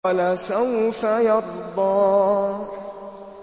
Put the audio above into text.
وَلَسَوْفَ يَرْضَىٰ